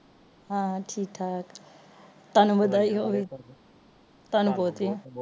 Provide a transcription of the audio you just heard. ਹਾਂ ਠੀਕ ਠਾਕ ਤੈਨੂੰ ਵਧਾਇਆ ਹੋਏ ਤਾਂਨੂੰ ਦੋਤੀਆਂ